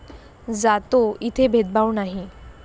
जातो, इथे भेदभाव नाही.